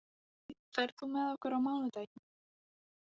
Glói, ferð þú með okkur á mánudaginn?